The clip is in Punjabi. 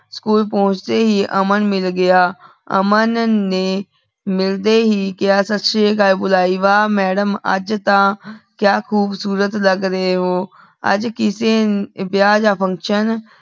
ਸਕੂਲ ਪੋਹ੍ਨ੍ਚ੍ਡੀ ਹੀ ਅਮਨ ਮਿਲ ਗਯਾ ਅਮਨ ਨੇ ਮਿਲਦੇ ਹੀ ਕੇਹਾ ਸਾਸਰੀਕਾਲ ਬੁਲਾਈ ਵਾਹ ਮੈਡਮ ਆਜ ਤਾਂ ਕਿਆ ਖੋਬ੍ਸੁਰਤ ਲਾਗ ਰਹੀ ਹੋ ਆਜ ਕਿਸੇ ਵਿਯਾਹ ਦਾ function